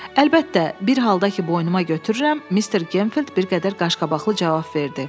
Əlbəttə, bir halda ki, boynuma götürürəm, Mr. Genfield bir qədər qaşqabaqlı cavab verdi.